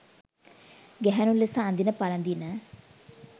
ගැහැණු ලෙස අඳින පළඳින